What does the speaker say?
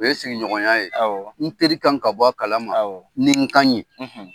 O ye sigiɲɔgɔnya ye n teri ka kan ka bɔ a kala ma ni n kan ye.